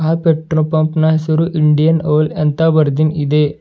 ಆ petrol pump ನ ಹೆಸರು ಇಂಡಿಯನ್ ಓಲ್ ಅಂತ ಬರೆದಿನ್ ಇದೆ.